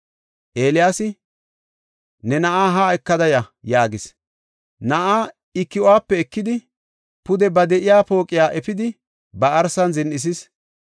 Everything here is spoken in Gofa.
Eeliyaasi, “Ne na7aa haa ekada ya” yaagis. Na7aa I ki7uwape ekidi, pude ba de7iya pooqiya efidi ba arsan zin7isis.